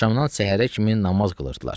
Axşamdan səhərə kimi namaz qılırdılar.